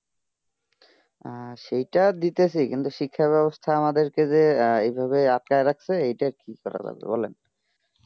অ্যাঁ সেইটা দিতাছি কিন্তু শিক্ষা ব্যবস্থা আমাদেরকে যেইভাবে আটকাইয়া রাখছে এইটা কি করা যাবে বলেন